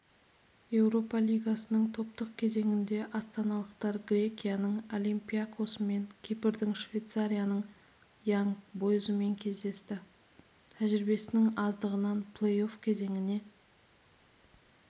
еуропа лигасының топтық кезеңінде астаналықтар грекияның олимпиакосымен кипрдің швейцарияның янг бойзымен кездесті тәжірибесінің аздығынан плей-офф кезеңіне